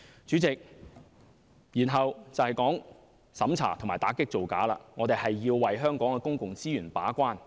主席，至於審查和打擊造假，我們要為香港的公共資源把關。